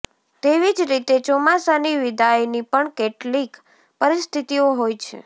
તેવી જ રીતે ચોમાસાની વિદાયની પણ કેટલીક પરિસ્થિતિઓ હોય છે